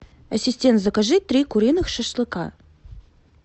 ассистент закажи три куриных шашлыка